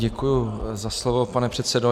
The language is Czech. Děkuji za slovo, pane předsedo.